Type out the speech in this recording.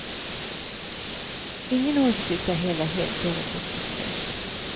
Ingen åsikt är heller helt förutsättningslös.